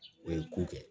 O ye ko kɛ